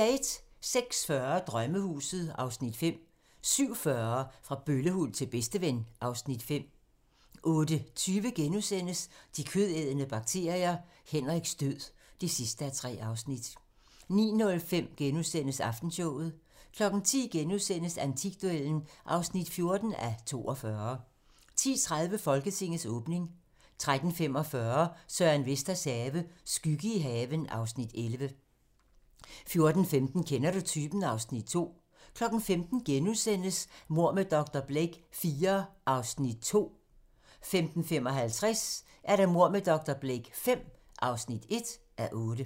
06:40: Drømmehuset (Afs. 5) 07:40: Fra bøllehund til bedsteven (Afs. 5) 08:20: De kødædende bakterier - Henriks død (3:3)* 09:05: Aftenshowet * 10:00: Antikduellen (14:42)* 10:30: Folketingets åbning 13:45: Søren Vesters have - skygge i haven (Afs. 11) 14:15: Kender du typen? (Afs. 2) 15:00: Mord med dr. Blake IV (2:8)* 15:55: Mord med dr. Blake V (1:8)